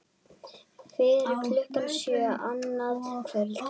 Fyrir klukkan sjö annað kvöld